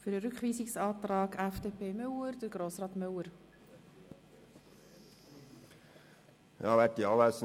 Für den Rückweisungsantrag FDP/Müller spricht Grossrat Müller.